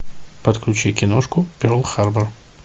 подключи киношку перл харбор